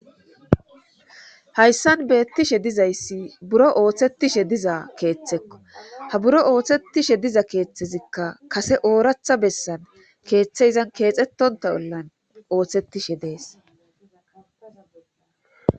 hayssan beettishe dizayssi buro ooththetishe diza keeththekko ha buro ooththettishe diza keeththezikka kase ooratha bessan keeththe izan keexettonta ollan ooththettishe dees